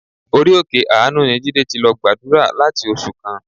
Orí òkè àánú ni Jídé ti lọ gbàdúrà láti oṣù kan.